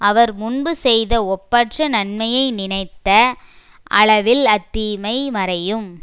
அவர் முன்பு செய்த ஒப்பற்ற நன்மையை நினைத்த அளவில் அத்தீமை மறையும்